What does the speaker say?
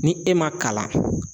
Ni e ma kalan